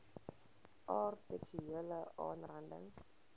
aard seksuele aanranding